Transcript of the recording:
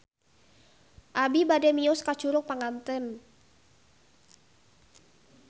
Abi bade mios ka Curug Panganten